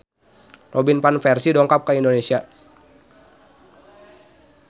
Robin Van Persie dongkap ka Indonesia